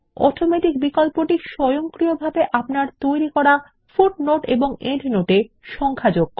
automatic বিকল্পটি স্বয়ংক্রিয়ভাবে আপনার তৈরী করা পাদটীকা বা প্রান্তটীকা তে সংখ্যা যোগ করে